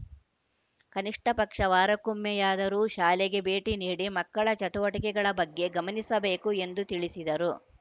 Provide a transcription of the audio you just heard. ಕನಿಷ್ಠ ಪಕ್ಷ ವಾರಕ್ಕೊಮ್ಮೆಯಾದರೂ ಶಾಲೆಗೆ ಭೇಟಿ ನೀಡಿ ಮಕ್ಕಳ ಚಟುವಟಿಕೆಗಳ ಬಗ್ಗೆ ಗಮನಿಸಬೇಕು ಎಂದು ತಿಳಿಸಿದರು